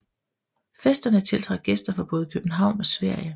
Festerne tiltrak gæster fra både København og Sverige